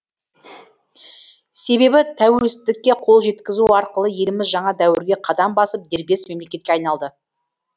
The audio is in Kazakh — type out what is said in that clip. себебі тәуелсіздікке қол жеткізу арқылы еліміз жаңа дәуірге қадам басып дербес мемлекетке айналды